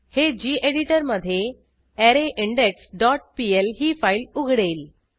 हे गेडिटर मधे अरेन्डेक्स डॉट पीएल ही फाईल उघडेल